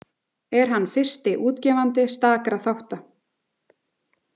Er hann fyrsti útgefandi stakra þátta.